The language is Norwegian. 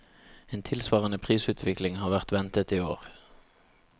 En tilsvarende prisutvikling har vært ventet i år.